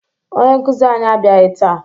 Onye nkụzi anyị abịaghị taa